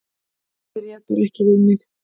Ég réð bara ekki við mig.